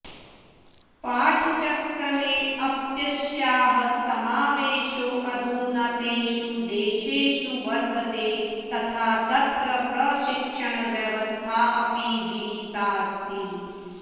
पाठचक्रमेऽप्यस्याः समावेशोऽधुना तेषु देशेषु वर्तते तथा तत्र प्रशिक्षणव्यवस्थापि विहिताऽस्ति